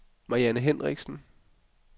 Marianne Hendriksen